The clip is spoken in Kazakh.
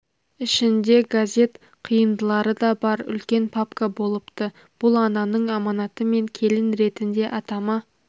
ішінде газет қиындылары да бар үлкен папка болыпты бұл ананың аманаты мен келін ретінде атама